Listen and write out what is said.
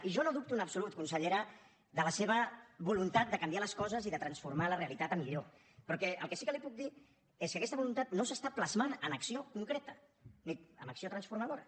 i jo no dubto en absolut consellera de la seva voluntat de canviar les coses i de transformar la realitat a millor però el que sí que li puc dir és que aquesta voluntat no s’està plasmant en acció concreta ni amb acció transformadora